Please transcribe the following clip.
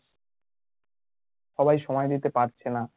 সবাই সময় দিতে পারছে না